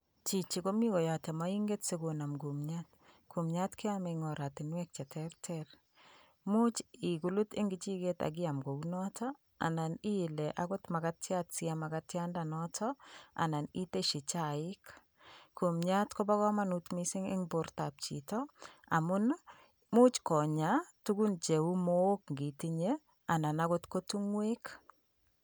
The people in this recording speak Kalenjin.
Chichi komi koyote moinket sikonem kumiat. Kumiat keome eng ortinwek cheterter. Much ikulut eng kichiket akiam kounoto anan iile akot makatiat siam makatiandanito anan iteshi chaik. Kumiat kopo komonut mising eng bortap chito amun, imuch konya tukun cheu mook ngitinye anan ko tukun cheu tung'wek.